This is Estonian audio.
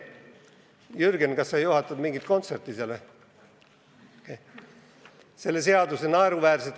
Jürgen, kas sa juhatad seal mingit kontserti?